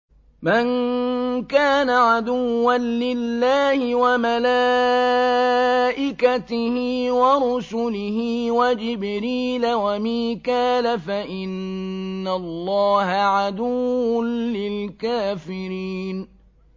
مَن كَانَ عَدُوًّا لِّلَّهِ وَمَلَائِكَتِهِ وَرُسُلِهِ وَجِبْرِيلَ وَمِيكَالَ فَإِنَّ اللَّهَ عَدُوٌّ لِّلْكَافِرِينَ